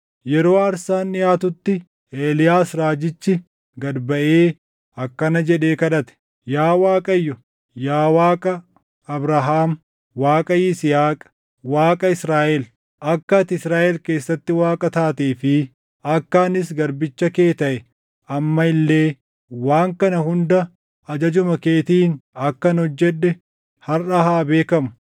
Yeroo aarsaan dhiʼaatutti, Eeliyaas raajichi gad baʼee akkana jedhee kadhate; “Yaa Waaqayyo, yaa Waaqa Abrahaam, Waaqa Yisihaaq, Waaqa Israaʼel, akka ati Israaʼel keessatti Waaqa taatee fi akka anis garbicha kee taʼee amma illee waan kana hunda ajajuma keetiin akkan hojjedhe harʼa haa beekamu.